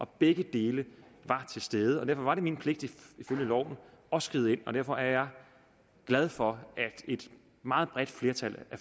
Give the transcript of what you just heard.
begge dele var til stede og derfor var det min pligt ifølge loven at skride ind og derfor er jeg glad for at et meget bredt flertal af